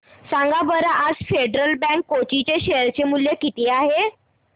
सांगा बरं आज फेडरल बँक कोची चे शेअर चे मूल्य किती आहे